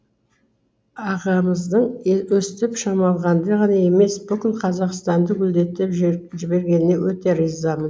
ағамыздың өстіп шымалғанды ғана емес бүкіл қазақстанды гүлдетіп жібергеніне өте ризымын